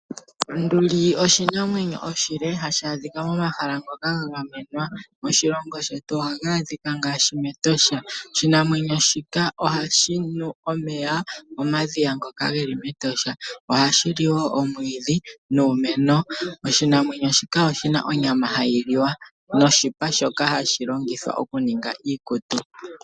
Onduli oshinamwenyo oshile hashi adhika momahala ngoka ga gamenwa. Moshilongo shetu otu na mo ngaashi mEtosha. Oshinamwenyo shika ohashi nu omeya momadhiya ngoka ge li mEtosha. Ohashi li wo omwiidhi nuumeno. Oshinamwenyo shika oshi na onyama hayi liwa noshipa shoka hashi longithwa okuninga iikutu.